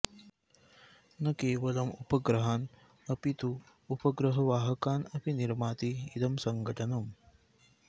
न केवलम् उपग्रहान् अपि तु उपग्रहवाहकान् अपि निर्माति इदं सङ्घटनम्